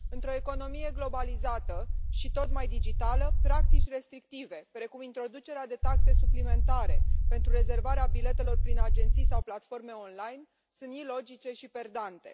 Într o economie globalizată și tot mai digitală, practici restrictive, precum introducerea de taxe suplimentare pentru rezervarea biletelor prin agenții sau platforme online sunt ilogice și perdante.